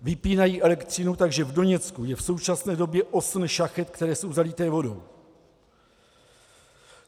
Vypínají elektřinu, takže v Doněcku je v současné době osm šachet, které jsou zalité vodou.